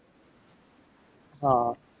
હા